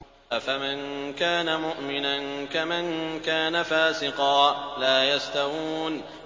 أَفَمَن كَانَ مُؤْمِنًا كَمَن كَانَ فَاسِقًا ۚ لَّا يَسْتَوُونَ